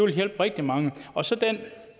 hjælpe rigtig mange